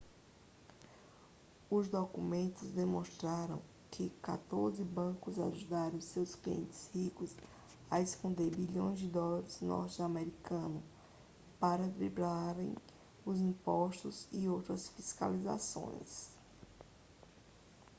os documentos demonstraram que quatorze bancos ajudaram seus clientes ricos a esconder bilhões de dólares norte-americanos para driblarem os impostos e outras fiscalizações